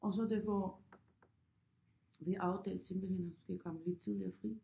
Og så det var vi aftalt simpelthen at hun skal komme lidt tidligere fri